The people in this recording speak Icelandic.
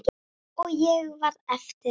Og ég varð eftir ein.